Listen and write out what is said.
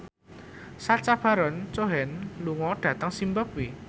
Sacha Baron Cohen lunga dhateng zimbabwe